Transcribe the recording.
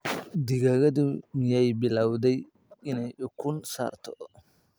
Digaagadu miyay bilawday inay ukun saarto?